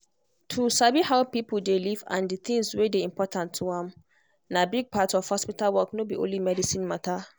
to sabi how person dey live and the things wey dey important to am na big part of hospital work no be only medicine matter.